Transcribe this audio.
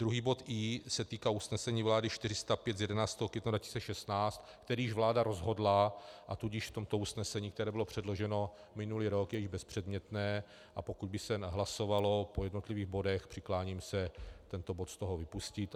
Druhý bod i) se týká usnesení vlády 405 z 11. května 2016, který již vláda rozhodla, a tudíž v tomto usnesení, které bylo předloženo minulý rok, je již bezpředmětné, a pokud by se hlasovalo po jednotlivých bodech, přikláním se tento bod z toho vypustit.